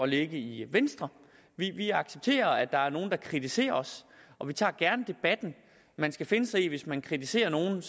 lægge i venstre vi vi accepterer at der er nogle der kritiserer os og vi tager gerne debatten man skal finde sig i at hvis man kritiserer nogle